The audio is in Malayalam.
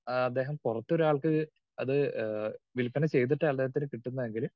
സ്പീക്കർ 2 ആഹ് അദ്ദേഹം പുറത്തൊരാൾക്ക് അത് ആഹ് വിൽപ്പന ചെയ്തിട്ട് അയാളുടെ അടുത്തുനിന്ന് കിട്ടുന്നതെങ്കില്